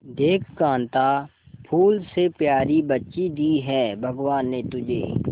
देख कांता फूल से प्यारी बच्ची दी है भगवान ने तुझे